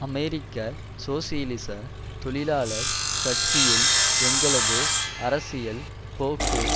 அமெரிக்க சோசியலிச தொழிலாளர் கட்சியுள் எங்களது அரசியல் போக்கு